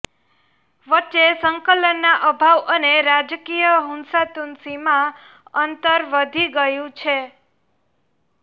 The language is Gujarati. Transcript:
વચ્ચે સંકલનના અભાવ અને રાજકીય હુંસાતુસીમાં અંતર વધી ગયું છે